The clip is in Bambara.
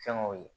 Fɛnkɛw ye